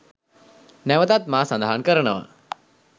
නැවතත් මා සඳහන් කරනවා.